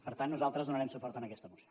per tant nosaltres donarem suport a aquesta moció